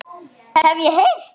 Hef ég heyrt.